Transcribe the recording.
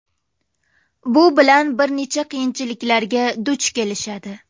Bu bilan bir qancha qiyinchiliklarga duch kelishadi.